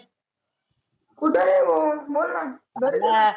कुठे नाही भो बोलणं घरीचे